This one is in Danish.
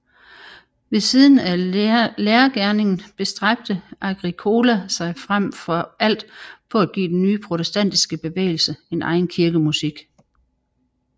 Ved siden af lærergerningen bestræbte Agricola sig frem for alt på at give den nye protestantiske bevægelse en egen kirkemusik